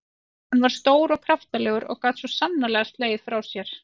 Hann var stór og kraftalegur og gat svo sannarlega slegið frá sér.